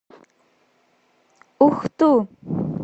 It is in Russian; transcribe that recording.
ухту